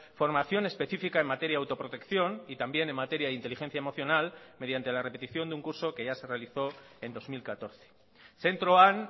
formación específica en materia de autoprotección y también en materia de inteligencia emocional mediante la repetición de un curso que ya se realizó en dos mil catorce zentroan